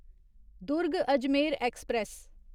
Durg Ajmer express